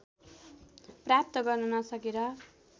प्राप्त गर्न नसकेर